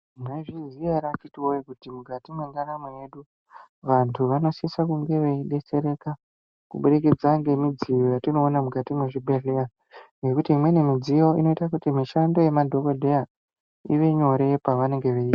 Mwaizviziya ere akhiti woyee, kuti mukati mwendaramo yedu, vanthu vanosisa kunge veidetsereka, kubudikidze ngemidziyo ye tinoona muzvibhedhlera. Ngekuti imweni midziyo inoita kuti mishando yemadhokodheya ive nyore pe anenge veirapa.